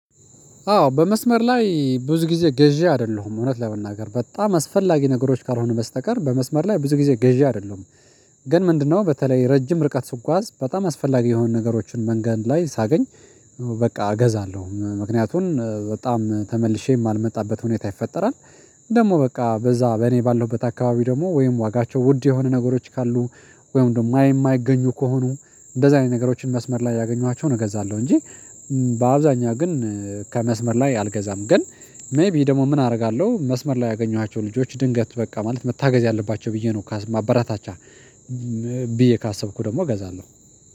አዎ በመስመር ላይ ብዙ ጊዜ ገዢ አይደለሁም እውነት ለመናገር በጣም አስፈላጊ ነገሮች ካልሆኑ በስተቀር በመስመር ላይ ብዙ ጊዜ ገዢ አይደለሁም። ግን ምንድነው? በተለይ ረጅም ርቀት ስጓዝ በጣም አስፈላጊ የሆኑ ነገሮችን መንገድ ላይ ሳገኝ በቃ እገዛለሁ ምክንያቱን በጣም ተመልሼ የማልመጣበት ሁኔታ ይፈጠራል። ደግሞ በቃ በዛ በእኔ ባለሁበት አካባቢ ደግሞ ወይም ዋጋቸው ውድ የሆኑ ነገሮች ካሉ ወይም ደግሞ የማይገኙ ከሆኑ እንደዚህ አይነት ነገሮችን መስመር ላይ ያገኟቸውን እገዛለሁ እንጂ። በአብዛኛው ግን ከመስመር ላይ አልገዛም ግን። ሜይቢ ደግሞ ምን አደርጋለሁ መስመር ላይ ያገኘኋቸው ልጆች ድንገት በቃ ማለት መታገዝ ያለባቸው ብዬ ነው ካስ ማበራታቻ ብዬ ካሰብኩ ደግሞ እገዛለሁ።